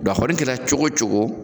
Dɔnku a kɔni kɛra cogo o cogo.